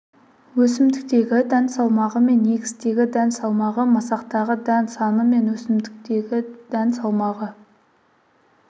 өсімдіктегі дән салмағы мен егістегі дән салмағы масақтағы дән саны мен өсімдіктегі дән салмағы